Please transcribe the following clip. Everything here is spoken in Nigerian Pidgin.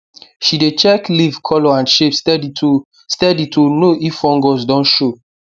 she dey check leaf colour and shape steady to steady to know if fungus don show